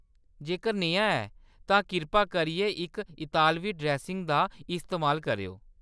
जेकर नेहा ऐ, तां किरपा करियै इक इतालवी ड्रेसिंग दा इस्तेमाल करेओ।